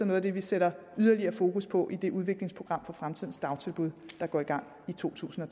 noget af det vi sætter yderligere fokus på i det udviklingsprogram for fremtidens dagtilbud der går i gang i totusinde